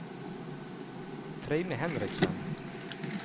Trine Henriksen